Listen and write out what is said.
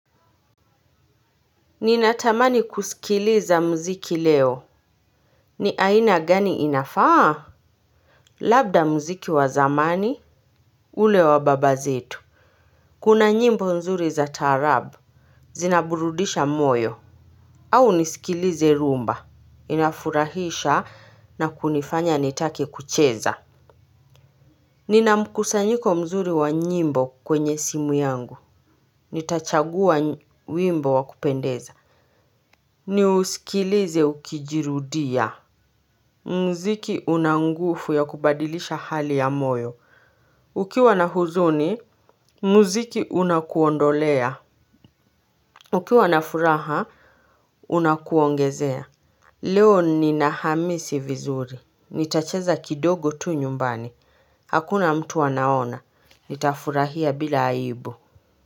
Ninatamani kusikiliza mziki leo. Ni aina gani inafaa. Labda mziki wa zamani ule wa baba zetu. Kuna nyimbo nzuri za taarab. Zinaburudisha moyo. Au nisikilize rumba. Inafurahisha na kunifanya nitake kucheza. Ninamkusanyiko mzuri wa nyimbo kwenye simu yangu. Nitachagua wimbo wa kupendeza. Ni usikilize ukijirudia. Mziki unangufu ya kubadilisha hali ya moyo. Ukiwa na huzuni, mziki unakuondolea. Ukiwa na furaha, unakuongezea. Leo ni nahamisi vizuri, nitacheza kidogo tu nyumbani, hakuna mtu anaona, nitafurahia bila aibu.